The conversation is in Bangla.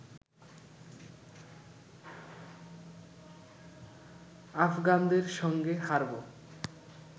আফগানদের সঙ্গে হারবো